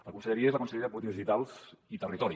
la conselleria és la conselleria de polítiques digitals i territori